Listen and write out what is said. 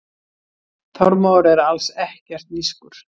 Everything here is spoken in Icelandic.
Þormóður er alls ekkert nískur.